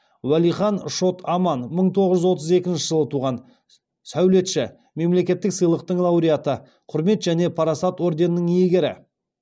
уәлихан шот аман мың тоғыз жүз отыз екінші жылы туған сәулетші мемлекеттік сыйлықтың лауреаты құрмет және парасат ордендерінің иегері